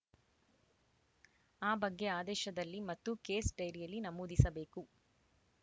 ಆ ಬಗ್ಗೆ ಆದೇಶದಲ್ಲಿ ಮತ್ತು ಕೇಸ್‌ ಡೈರಿಯಲ್ಲಿ ನಮೂದಿಸಬೇಕು